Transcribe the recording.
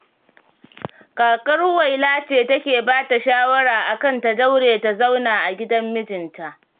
Kakar Huwaila ce take bata shawara akan ta daure ta zauna a gidan mijinta.